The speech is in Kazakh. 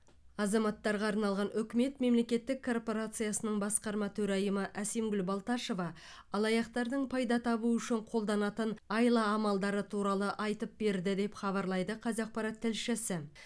азаматтарға арналған үкімет мемлекеттік корпорациясының басқарма төрайымы әсемгүл балташева алаяқтардың пайда табу үшін қолданатын айла амалдары туралы айтып берді деп хабарлайды қазақпарат тілшісі